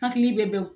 Hakili bɛ bɔ